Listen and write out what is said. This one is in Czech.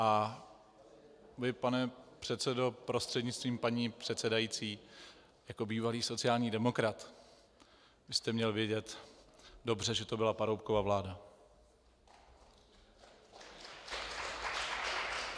A vy, pane předsedo prostřednictvím paní předsedající , jako bývalý sociální demokrat byste měl vědět dobře, že to byla Paroubkova vláda.